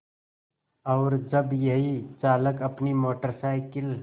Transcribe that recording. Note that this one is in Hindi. और जब यही चालक अपनी मोटर साइकिल